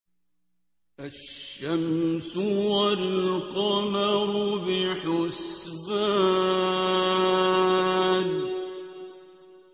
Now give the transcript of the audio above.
الشَّمْسُ وَالْقَمَرُ بِحُسْبَانٍ